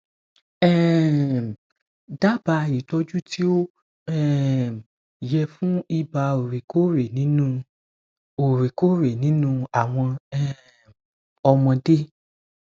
um daba itoju ti o um ye fun iba oorekore ninu oorekore ninu awon um omode